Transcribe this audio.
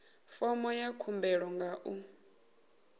fomo ya khumbelo nga u